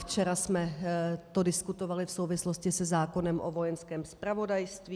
Včera jsme to diskutovali v souvislosti se zákonem o Vojenském zpravodajství.